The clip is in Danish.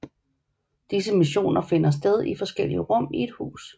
Disse missioner finder sted i forskellige rum i et hus